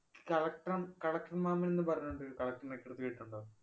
collector മ് collector മാമന്‍ എന്ന് പറഞ്ഞോണ്ടൊരു collector കേട്ടിട്ടുണ്ടോ?